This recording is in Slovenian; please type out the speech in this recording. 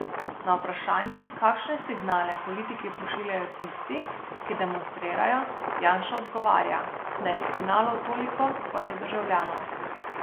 Na vprašanje, kakšne signale politiki pošiljajo tisti, ki demonstrirajo, Janša odgovarja, da je signalov toliko, kot je državljanov.